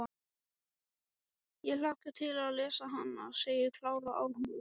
Ég hlakka til að lesa hana, segir Klara áhugasöm.